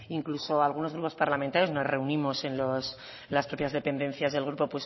incluso algunos grupos parlamentarios nos reunimos en las propias dependencias del grupo